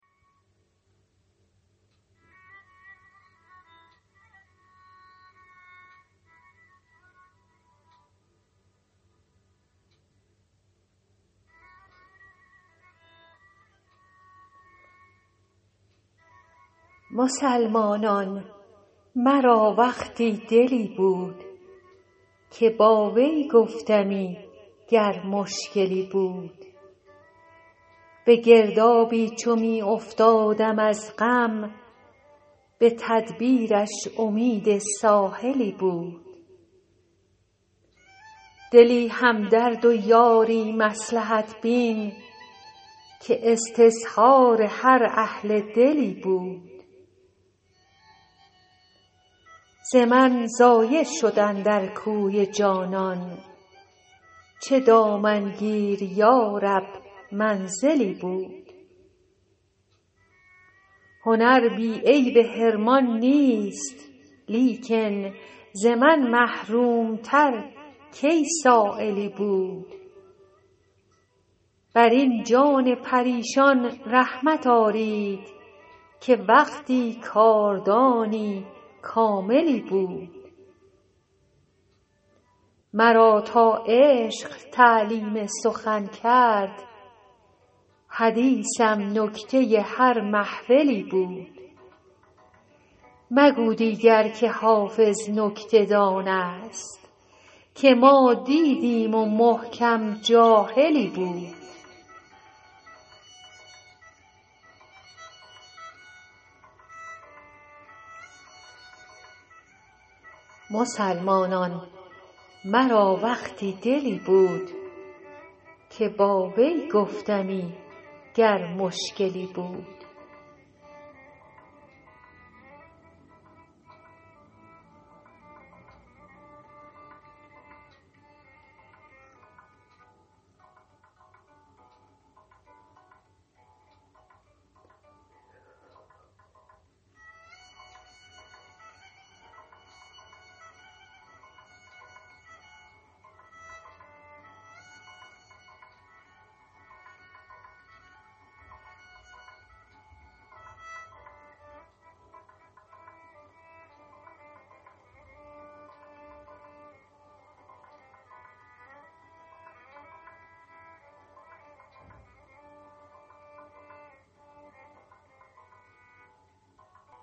مسلمانان مرا وقتی دلی بود که با وی گفتمی گر مشکلی بود به گردابی چو می افتادم از غم به تدبیرش امید ساحلی بود دلی همدرد و یاری مصلحت بین که استظهار هر اهل دلی بود ز من ضایع شد اندر کوی جانان چه دامنگیر یا رب منزلی بود هنر بی عیب حرمان نیست لیکن ز من محروم تر کی سایلی بود بر این جان پریشان رحمت آرید که وقتی کاردانی کاملی بود مرا تا عشق تعلیم سخن کرد حدیثم نکته هر محفلی بود مگو دیگر که حافظ نکته دان است که ما دیدیم و محکم جاهلی بود